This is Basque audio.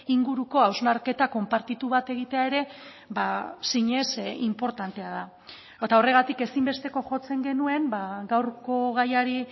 inguruko hausnarketa konpartitu bat egitea ere zinez inportantea da eta horregatik ezinbesteko jotzen genuen gaurko gaiari